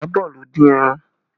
Iyabọ̀ ló dín ẹran